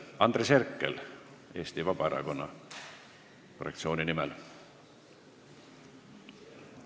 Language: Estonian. Andres Herkel Eesti Vabaerakonna fraktsiooni nimel.